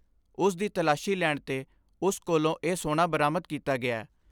ਉਸ ਦੀ ਤਲਾਸ਼ੀ ਲੈਣ ਤੇ ਉਸ ਕੋਲੋਂ ਇਹ ਸੋਨਾ ਬਰਾਮਦ ਕੀਤਾ ਗਿਆ।